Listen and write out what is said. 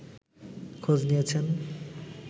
খোঁজ নিয়েছেন